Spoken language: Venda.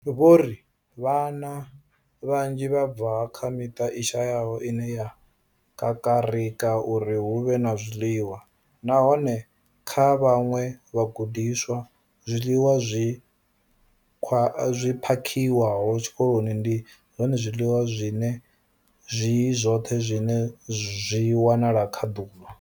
Vho ri, Vhana vhanzhi vha bva kha miṱa i shayaho ine ya kakarika uri hu vhe na zwiḽiwa, nahone kha vhaṅwe vhagudiswa, zwiḽiwa zwi phakhiwaho tshikoloni ndi zwone zwiḽiwa zwine zwi zwoṱhe zwine vha zwi wana kha ḓuvha.